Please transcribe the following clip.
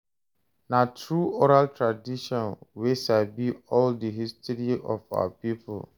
Na through oral tradition we sabi all the history of our people.